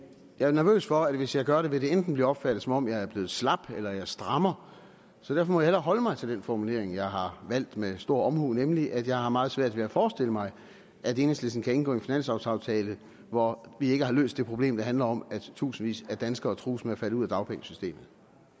jeg er nervøs for at hvis jeg gør det vil det enten blive opfattet som om jeg er blevet slap eller jeg strammer så derfor må hellere holde mig til den formulering jeg har valgt med stor omhu nemlig at jeg har meget svært ved at forestille mig at enhedslisten kan indgå en finanslovaftale hvor vi ikke har løst det problem der handler om at tusindvis af danskere trues med at falde ud af dagpengesystemet